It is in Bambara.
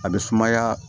A bɛ sumaya